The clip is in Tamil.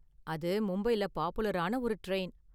அது மும்பைல பாப்புலரான ஒரு டிரைன்.